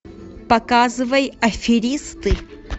показывай аферисты